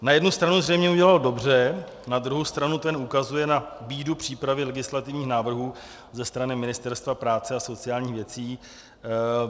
Na jednu stranu zřejmě udělalo dobře, na druhou stranu to ukazuje na bídu přípravy legislativních návrhů ze strany Ministerstva práce a sociálních věcí.